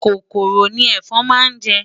Kòkòrò ni ẹ̀fọn náà jẹ́.